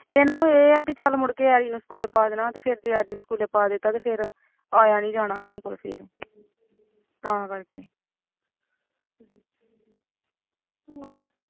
ਇਨਾਂ ਨੂੰ ਇਹ ਐ ਕਿ school ਪਾ ਦੇਣਾ ਤੇ ਫਿਰ ਜੇ school ਪਾ ਦਿਤਾਂ ਮੁੜ ਆਇਆ ਨੀ ਜਾਣਾ ਸਾਡੇ ਕੋਲ ਫਿਰ ਤਾਂ ਕਰਕੇ